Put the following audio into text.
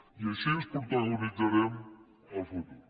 i així protagonitzarem el futur